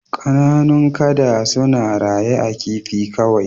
Kananun kada suna raye a kifi kawai